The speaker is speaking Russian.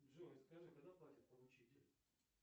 джой скажи когда платит поручитель